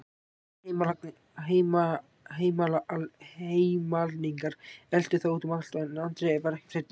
Tveir heimalningar eltu þá út um allt en Andri var ekkert hræddur.